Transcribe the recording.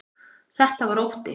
Þetta var ótti.